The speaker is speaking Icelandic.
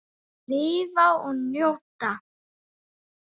Lifa og njóta.